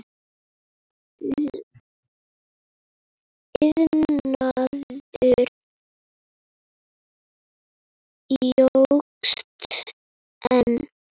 Iðnaður jókst enn.